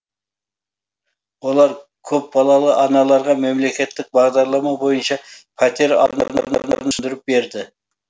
олар көп балалы аналарға мемлекеттік бағдарлама бойынша пәтер түсіндіріп берді